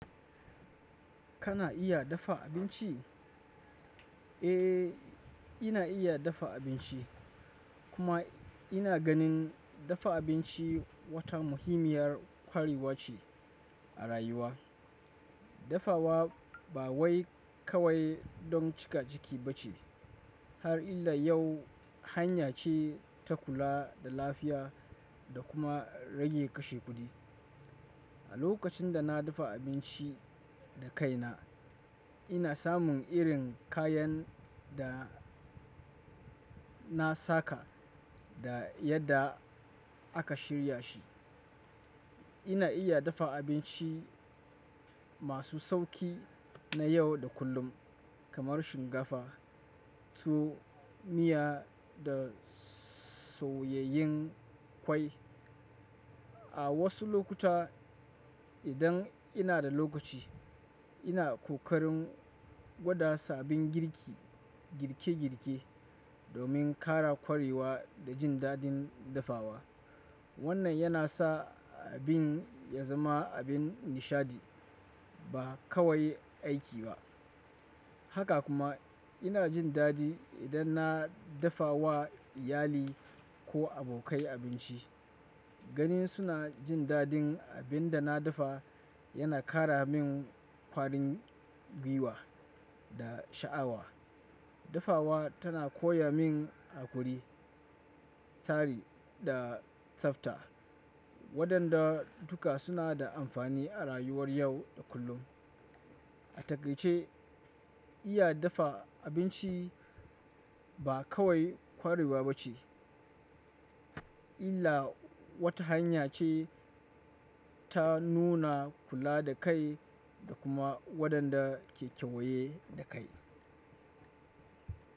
Kana iya dafa abinci? Eh, ina iya dafa abinci kuma ina ganin dafa abinci wata muhimmiyar kwarewa ce a rayuwa. Dafawa ba wai kawai don cika ciki bace har illa yau hanya ce ta kula da lafiya da kuma rage kashe kudi. A lokacin da na dafa abinci da kaina, ina samun irin kayan da na saka da yadda aka shirya shi. Ina iya dafa abinci masu sauƙi na yau da kullum kamar shinkafa, tuwo miya da soyayyen ƙwai. A wasu lokuta, idan ina da lokaci, ina ƙoƙarin gwada sabbin girki girke girke domin ƙara ƙwarewa da jin dadin dafawa. Wannan yana sa abin ya zama abin nishadi ba kawai aiki ba. Haka kuma ina jin daɗi idan na dafa wa iyali ko abokai abinci. Gani suna jin daɗin abin da na dafa yana ƙara min ƙwarin gwiwa da sha'awa. Dafawa tana koya min haƙuri, tsari da tsafta wadanda duka suna da amfani a rayuwar yau da kullum. A takai ce, iya dafa abinci ba kawai ƙwarewa bace illa wata hanya ce ta nuna kula da kai da kuma wadanda ke kewaye da kai.